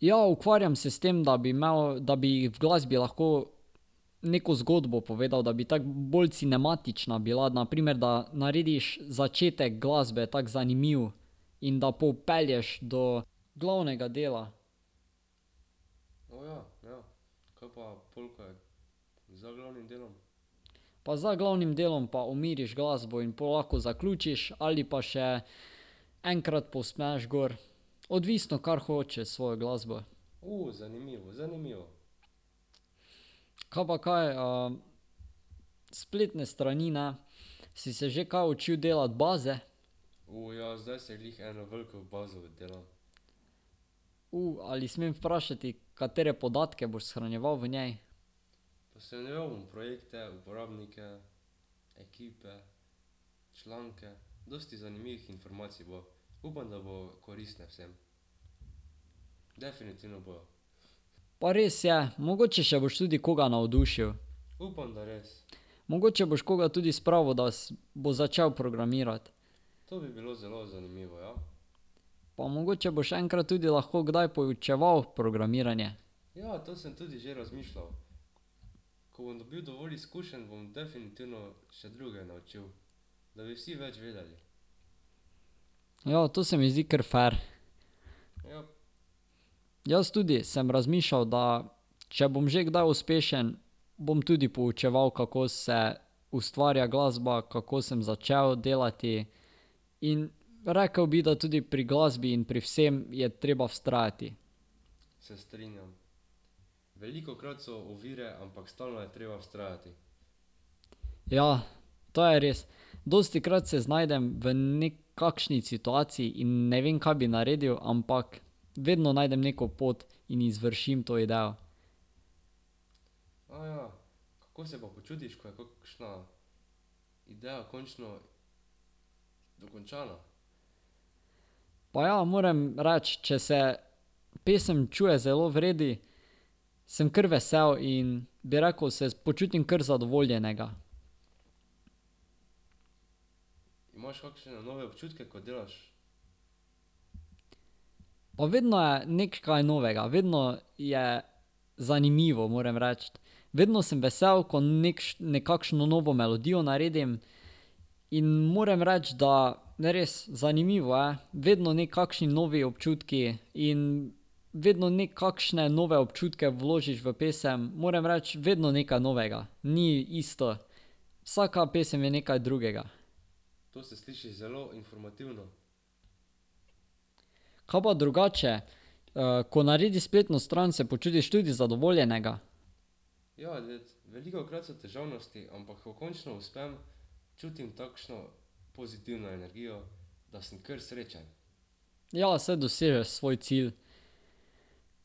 Ja, ukvarjam se s tem, da bi imel, da bi v glasbi lahko neko zgodbo povedal, da bi tako bolj cinematična bila. Na primer, da narediš začetek glasbe tako zanimiv in da popelješ do glavnega dela. Pa za glavnem delom pa umiriš glasbo in pol lahko zaključiš ali pa še enkrat povzpneš gor. Odvisno, kar hočeš s svojo glasbo. Kaj pa kaj, spletne strani, ne. Si se že kaj učil delati baze? ali smem vprašati, katere podatke boš shranjeval v njej? Pa res je, mogoče še boš koga navdušil. Mogoče boš koga tudi spravil, da bo začel programirati. Pa mogoče boš enkrat tudi lahko poučeval programiranje. Ja, to se mi zdi kar fer. Jaz tudi sem razmišljal, da če bom že kdaj uspešen, bom tudi poučeval, kako se ustvarja glasba, kako sem začel delati, in rekel bi, da tudi pri glasbi in pri vsem je treba vztrajati. Ja, to je res. Dostikrat se znajdem v kakšni situaciji in ne vem, kaj bi naredil, ampak vedno najdem neko pot in izvršim to idejo. Pa ja, moram reči, če se pesem čuje zelo v redu, sem kar vesel in, bi rekel, se počutim kar zadovoljnega. Pa vedno je kaj novega, vedno je zanimivo, moram reči. Vedno sem vesel, ko nekakšno novo melodijo naredim, in moram reči, da res zanimivo je, vedno nekakšni novi občutki in vedno nekakšne nove občutke vložiš v pesem. Moram reči, vedno nekaj novega. Ni isto. Vsaka pesem je nekaj drugega. Kaj pa drugače, ko narediš spletno stran, se počutiš tudi zadovoljnega? Ja, saj dosežeš svoj cilj.